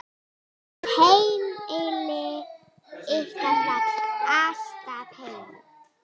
Heimili ykkar var alltaf heim.